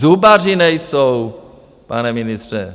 Zubaři nejsou, pane ministře.